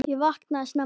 Ég vaknaði snemma.